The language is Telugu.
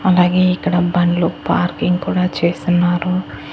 అలాగే ఇక్కడ బండ్లు పార్కింగ్ కూడా చేసున్నారు.